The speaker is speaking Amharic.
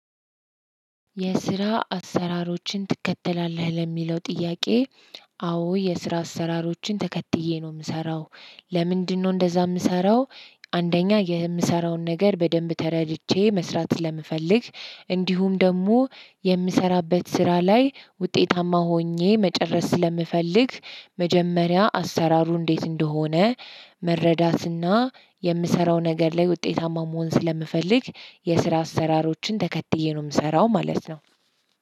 የስራ አሰራሮችን ትከተላለህ ለሚለው ጥያቄ? አዎ የስራ አሰራሮችን ተከትዬ ነው የምሰራው። ለምንድነው እንደዛ የምሰራው? አንደኛ የምሰራውን ነገር በደንብ ተረድቼ መስራት ስለምፈልግ እንዲሁም ደግሞ የምሰራበት ስራ ላይ ውጤታማ ሆኜ መጨረስ ስለምፈልግ። መጀመሪያ አሰራሩ እንዴት እንደሆነ መረዳትና የምሰራው ነገር ላይ ውጤታማ መሆን ስለምፈልግ የስራ አሰራሮችን ተከትዬ ነው የምሰራው ማለት ነው።